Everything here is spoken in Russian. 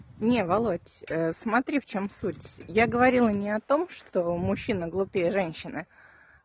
не володь смотри в чём суть я говорила не о том что мужчина глупее женщины